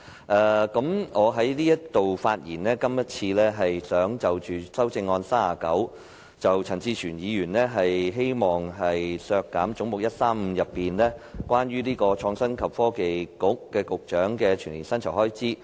我今次的發言想談談編號39的修正案，陳志全議員希望削減總目135中，關於創新及科技局局長的全年薪酬預算開支。